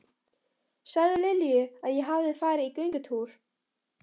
Segðu Lilju að ég hafi farið í göngutúr.